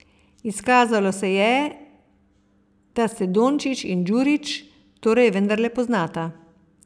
Izkazalo se je, da se Dončić in Djurić torej vendarle poznata.